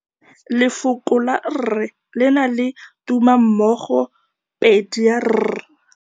Lefoko la rre, le na le tumammogôpedi ya, r.